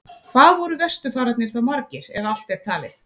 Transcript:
Hvað voru vesturfararnir þá margir, ef allt er talið?